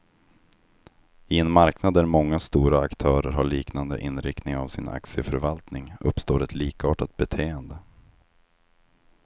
I en marknad där många stora aktörer har liknande inriktning av sin aktieförvaltning, uppstår ett likartat beteende.